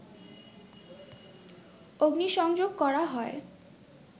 অগ্নিসংযোগ করা হয়